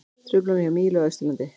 Truflanir hjá Mílu á Austurlandi